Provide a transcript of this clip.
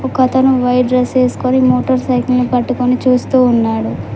ఒక అతను white dress వేసుకొని మోటర్ సైకిల్ని పట్టుకొని చూస్తూ ఉన్నాడు.